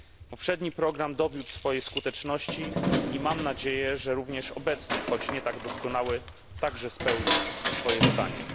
Poprzedni program dowiódł swojej skuteczności i mam nadzieję, że również obecny, choć nie tak doskonały, także spełni swoje zadanie.